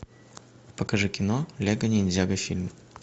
покажи кино лего ниндзяго фильм